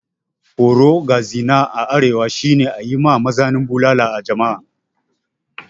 Horo ga zina a arewa shi ne ayi ma mazinan bulala a jama'a.